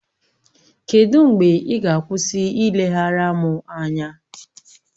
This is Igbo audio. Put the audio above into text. Kedụ mgbe ị ga-akwụsị ileghara m anya?